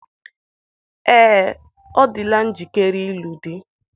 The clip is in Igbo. Ee, ọ dịla njikere ịlụ di.